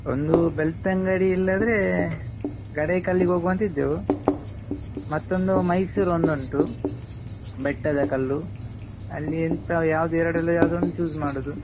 ಒಂದು ಬೆಳ್ತಂಗಡಿ ಇಲ್ಲಾದ್ರೆ ಗಡಾಯಿಕಲ್ಲಿಗ್ ಹೋಗ್ವಾಂತ ಇದ್ದೆವು. ಮತ್ತೊಂದು ಮೈಸೂರ್ ಒಂದುಂಟು ಬೆಟ್ಟದ ಕಲ್ಲು ಅಲ್ಲಿ ಎಂತ ಯಾವ್ದು ಎರಡರಲ್ಲಿ ಯಾವ್ದೋ ಒಂದು choose ಮಾಡುದು.